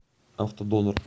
автодонор